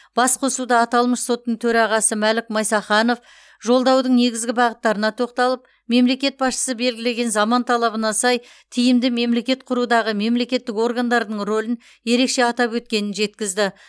басқосуда аталмыш соттың төрағасы мәлік майсақанов жолдаудың негізгі бағыттарына тоқталып мемлекет басшысы белгілеген заман талабына сай тиімді мемлекет құрудағы мемлекеттік органдардың рөлін ерекше атап өткенін жеткізді